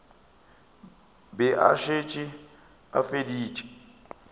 be a šetše a feditše